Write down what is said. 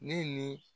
Ne ni